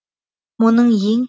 мұның ең